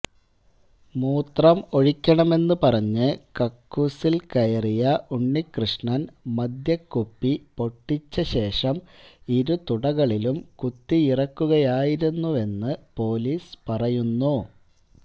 മൂത്രം ഒഴിക്കണമെന്നു പറഞ്ഞ് കക്കൂസില് കയറിയ ഉണ്ണികൃഷ്ണന് മദ്യകുപ്പി പൊട്ടിച്ചശേഷം ഇരു തുടകളിലും കുത്തിയിറക്കുകയായിരുന്നുവെന്നു പോലീസ് പറയുന്നു